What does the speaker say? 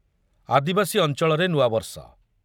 ଆଦିବାସୀ ଅଞ୍ଚଳରେ ନୂଆବର୍ଷ